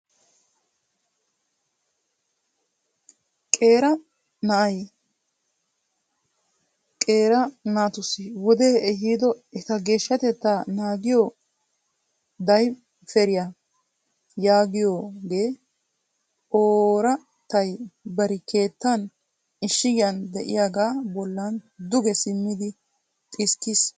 Qeera na'ay qeera naatussi wodee ehiido eta geeshshatettaa naagiyo dayferiya yagiyogee oorattay bari keettan ishshigiyan de'iyagaa bollan duge simmidi xiskkiis.